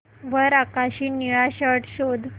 वर आकाशी निळा शर्ट शोध